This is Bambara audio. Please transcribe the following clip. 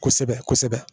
Kosɛbɛ kosɛbɛ